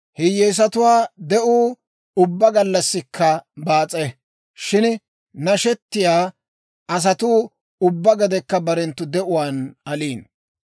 Hiyyeesatuwaa de'uu ubbaa gallassikka baas'e. Shin nashetiyaa asatuu ubbaa gedekka barenttu de'uwaan aliino.